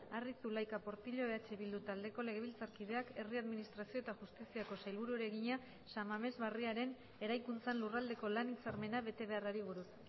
arri zulaika portillo eh bildu taldeko legebiltzarkideak herri administrazio eta justiziako sailburuari egina san mames barriaren eraikuntzan lurraldeko lan hitzarmena bete beharrari buruz